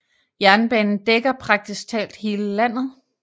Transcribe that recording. Jernbanen dækker praktisk talt hele landet